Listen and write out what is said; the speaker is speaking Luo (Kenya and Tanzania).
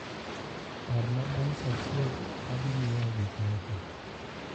parna bang saa achiel adi anyieu gikmoko